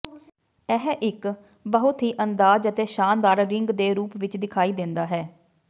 ਇਹ ਇੱਕ ਬਹੁਤ ਹੀ ਅੰਦਾਜ਼ ਅਤੇ ਸ਼ਾਨਦਾਰ ਰਿੰਗ ਦੇ ਰੂਪ ਵਿੱਚ ਦਿਖਾਈ ਦਿੰਦਾ ਹੈ